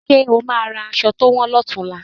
Ṣe o máa ra aṣọ to wọn náà ni ọ̀tunla?